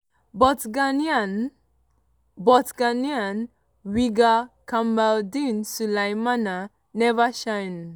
but ghana but ghana winger kamaldeen sulemana neva shine